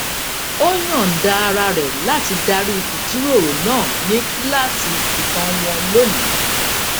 ó yòǹda ara rè láti darí ìjíròrò náà ní kíláàsì ìtàn wọn lónìí